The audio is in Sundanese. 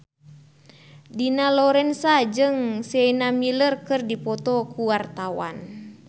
Dina Lorenza jeung Sienna Miller keur dipoto ku wartawan